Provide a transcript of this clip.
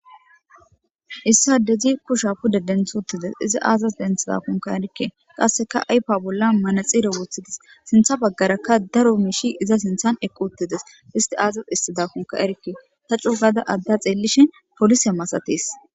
issa dezi kusha puda denthuttides iza aazas denthida konka erikke qasseka aypa bolla manaxire woothidis sintha baggarakka daro miishi iza sinthan eqquttides isti aazas issida konka erikke ta cu gada adda xeellishin polise masates